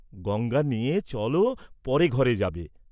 গঙ্গা নেয়ে চল পরে ঘরে যাবে।